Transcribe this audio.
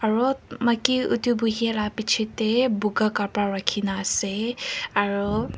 aru maiki utu buhia la piche te buga kapra rakhina ase aru.